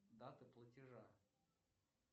дата платежа